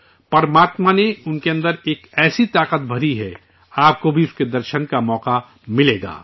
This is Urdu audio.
پرماتما نے ان کے اندر ایک ایسی طاقت بھری ہے آپ کو بھی اس کے درشن کا موقع ملے گا